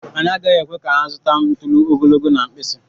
Anyị agaghị ekwe ka ha zụta ntuli ogologo na nke mkpịsị.